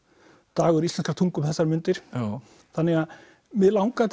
dagur íslenskrar tungu um þessar mundir þannig að mig langaði